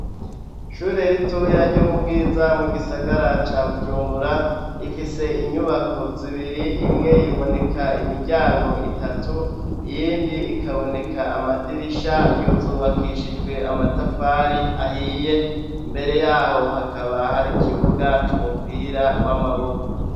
Ishure ritoya ryo mu bwiza mu gisagara ca bujumbura, yifise inyubako zibiri imwe iboneka imiryango itatu iyindi ikaboneka amadirisha zubakishijwe amatafari ahiye imbere yaho hakaba hari kibuga c'umupira w'amaboko.